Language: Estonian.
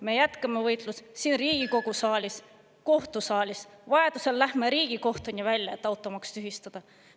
Me jätkame võitlust siin Riigikogu saalis, kohtusaalis, vajadusel läheme Riigikohtuni välja, et automaks tühistada.